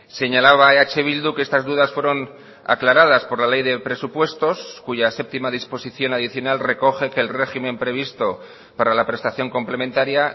señalaba eh bildu que estas dudas fueron aclaradas por la ley de presupuestos cuya séptima disposición adicional recoge que el régimen previsto para la prestación complementaria